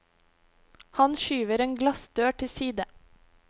Han skyver en glassdør til side.